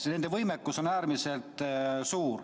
Nende võimekus on äärmiselt suur.